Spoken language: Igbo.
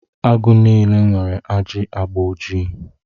Agụ niile nwere ajị agba ojii.